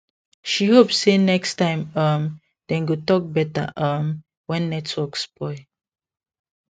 she hope say next time um dem go talk better um when network spoil